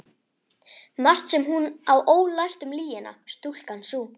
Margt sem hún á ólært um lygina, stúlkan sú.